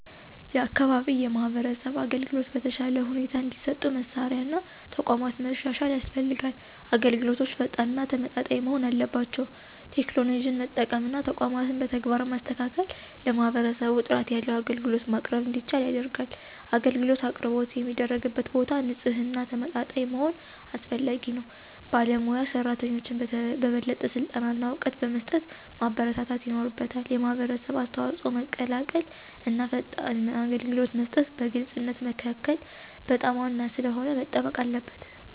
የአካባቢ የማህበረሰብ አገልግሎቶች በተሻለ ሁኔታ እንዲሰጡ መሳሪያ እና ተቋማት ማሻሻል ያስፈልጋል። አገልግሎቶች ፈጣን እና ተመጣጣኝ መሆን አለባቸው። ቴክኖሎጂን መጠቀም እና ተቋማትን በተግባር ማስተካከል ለማህበረሰቡ ጥራት ያለው አገልግሎት ማቅረብ እንዲቻል ያደርጋል። አገልግሎት አቅርቦት የሚደረግበት ቦታ ንፁህና ተመጣጣኝ መሆኑ አስፈላጊ ነው። ባለሞያ ሰራተኞችን በበለጠ ስልጠና እና እውቀት በመስጠት ማበረታታት ይኖርበታል። የማህበረሰብ አስተዋጽኦ መቀላቀል እና ፈጣን አገልግሎት መስጠት በግልፅነት መካከል በጣም ዋና ስለሆነ መጠበቅ አለበት።